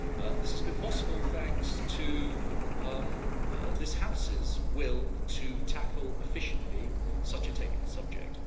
This has been possible thanks to this House's will to tackle efficiently such a technical subject.